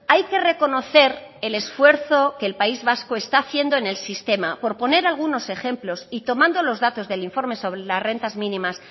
hay que reconocer el esfuerzo que el país vasco está haciendo en el sistema por poner algunos ejemplos y tomando los datos del informe sobre las rentas mínimas